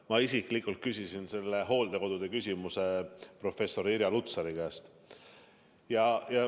Ma isiklikult küsisin hooldekodude kohta professor Irja Lutsari käest.